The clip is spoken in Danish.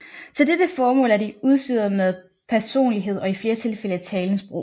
Til dette formål er de udstyret med personlighed og i flere tilfælde talens brug